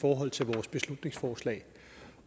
forhold til vores beslutningsforslag